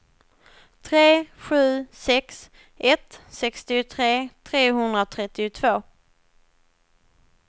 tre sju sex ett sextiotre trehundratrettiotvå